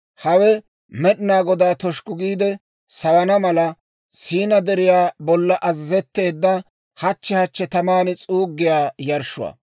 Hawe Med'inaa Godaa toshukku giide sawana mala, Siinaa Deriyaa bollan azazetteedda, hachchi hachchi taman s'uuggiyaa yarshshuwaa.